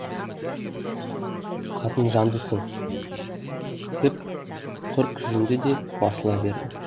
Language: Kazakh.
қатынжандысын деп құр кіжінді де басыла берді